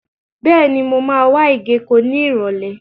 Bẹ́ẹ̀ni, mo máa wá ìgéko ní Ìrọ̀lẹ́.